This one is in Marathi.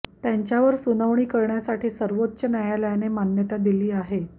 त्यांवर सुनावणी करण्यासाठी सर्वोच्च न्यायालयाने मान्यता दिली आहे